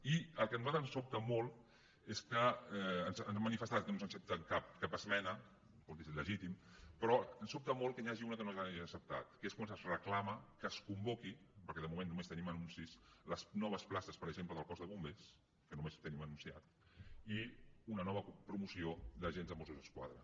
i el que a nosaltres ens sobta molt és que ens han ma·nifestat que no ens accepten cap esmena escolti és legítim però ens sobta molt que n’hi hagi una que no ens l’hagin acceptat que és quan es reclama que es convoquin perquè de moment només tenim anuncis les noves places per exemple del cos de bombers que només ho tenim anunciat i una nova promoció d’agents de mossos d’esquadra